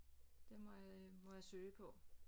Det må øh må jeg søge på